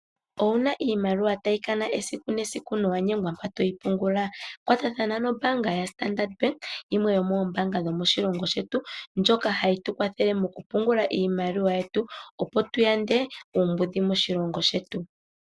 Ouna iimaliwa tayi kana esiku nesiku nowa nyengwa mpa toyi pungula kwatathana nombaanga ya Standard Bank yimwe yomoombanga dhomoshilongo shetu, ndjoka hayi tukwathele okupungula iimaliwa yetu opo tuyande uumbudhi moshilongo shetu.